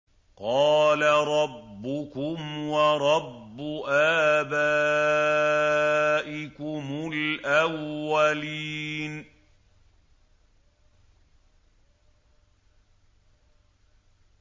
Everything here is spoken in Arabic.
قَالَ رَبُّكُمْ وَرَبُّ آبَائِكُمُ الْأَوَّلِينَ